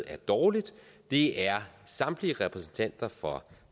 er dårligt er samtlige repræsentanter for